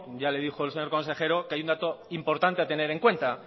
ya le dijo el señor consejero que hay un dato importante a tener en cuenta